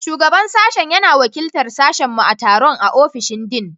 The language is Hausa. Shugaban Sashen yana wakiltar sashenmu a taron a ofishin Dean.